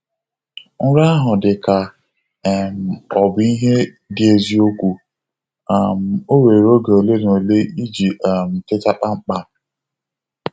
Nrọ ahụ dị ka um ọ bụ ihe dị eziokwu, um o were oge ole na ole iji um teta kpamkpam.